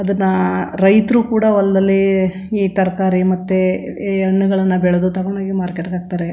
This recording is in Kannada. ಅದುನ್ನಾ ರೈತ್ರು ಕೂಡ ಹೊಲದಲ್ಲಿ ಈ ತರಕಾರಿ ಮತ್ತೆ ಈ ಹಣ್ಣುಗಳನ್ನು ಬೆಳೆದು ತಕೊಂಡ್ ಹೋಗಿ ಮಾರ್ಕೆಟ್ ಗೆ ಹಾಕ್ ತಾರೆ.